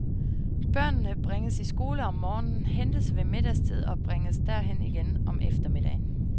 Børnene bringes i skole om morgenen, hentes ved middagstid og bringes derhen igen om eftermiddagen.